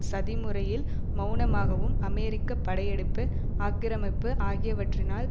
சதிமுறையில் மெளனமாகவும் அமெரிக்க படையெடுப்பு ஆக்கிரமிப்பு ஆகியவற்றினால்